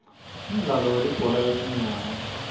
umdlalo welibhola letinyawo